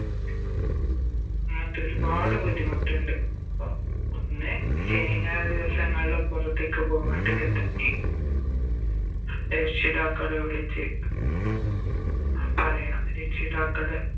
അങ്ങനത്തെ ഒരുപാട് ബുദ്ധിമുട്ടിണ്ട് അപ്പൊ ഒന്ന് ശനി ഞായർ ദിവസങ്ങളില് പൊറത്തേക്ക് പോവണ്ടിക്ക തന്നെ രക്ഷിതാക്കളെ വിളിച്ച് പറയണം രക്ഷിതാക്കളെ